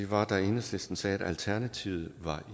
var da enhedslisten sagde at alternativet var